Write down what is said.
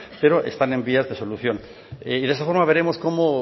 pero están en vías de solución de esta forma veremos como